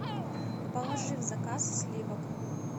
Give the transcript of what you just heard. положи в заказ сливок